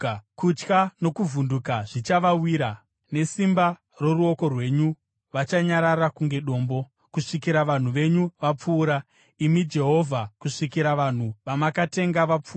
kutya nokuvhunduka zvichavawira. Nesimba roruoko rwenyu vachanyarara kunge dombo, kusvikira vanhu venyu vapfuura, imi Jehovha, kusvikira vanhu vamakatenga vapfuura.